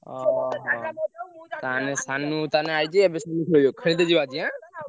ଓହୋ ତାହେନେ ସାନୁ ତାହେନେ ।